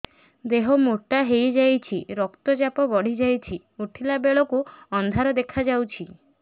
ଦେହ ମୋଟା ହେଇଯାଉଛି ରକ୍ତ ଚାପ ବଢ଼ି ଯାଉଛି ଉଠିଲା ବେଳକୁ ଅନ୍ଧାର ଦେଖା ଯାଉଛି